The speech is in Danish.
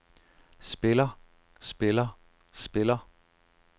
spiller spiller spiller